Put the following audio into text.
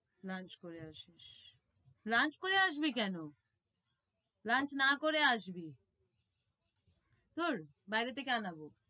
Lunch করে আসিস lunch করে আসবি কেন? দূর বাইরে থেকে আনাবো।